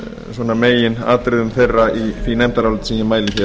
svona meginatriðum þeirra í því nefndaráliti sem ég mæli